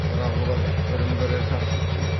бірақ олар бірін бірі жақсы түсінеді